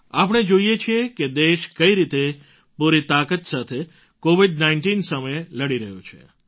આપણે જોઈએ છીએ કે દેશ કઈ રીતે પૂરી તાકાત સાથે કૉવિડ૧૯ સામે લડી રહ્યો છે